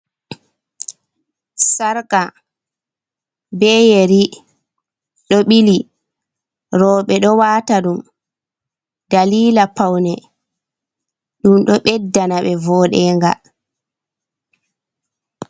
sarka be yeri do bili, robe do wata dum dalila paune dum do beddana be voɗenga.